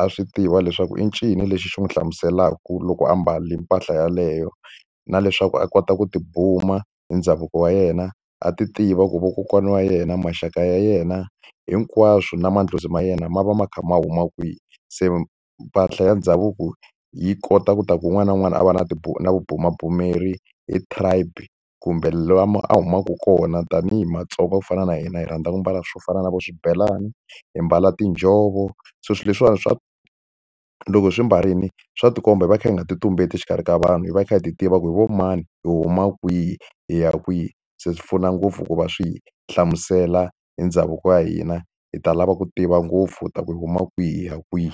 a swi tiva leswaku i ncini lexi xi n'wi hlamuselaka loko a mbale mpahla yaleyo, na leswaku a kota ku tibuma hi ndhavuko wa yena. A ti tiva ku vakokwana wa yena, maxaka ya yena hinkwaswo, na mandlhozi ma yena ma va ma kha ma huma kwihi. Se mpahla ya ndhavuko yi kota leswaku un'wana na un'wana a va na vubumabumeri hi tribe kumbe lomu a humaku kona. Tanihi maTsonga ku fana na hina, hi rhandza ku ambala swo fana na vo swibelani, hi mbala tinjhovo. Se swilo leswiwani swa loko hi swi mbarile swa tikomba hi va hi kha hi nga ti tumbeti xikarhi ka vanhu. Hi va hi kha hi ti tiva ku hi vo mani, hi huma kwihi, hi ya kwihi, se swi pfuna ngopfu ku va swi hi hlamusela hi ndhavuko wa hina. Hi ta lava ku tiva ngopfu hi ta ku hi huma kwihi hi ya kwihi.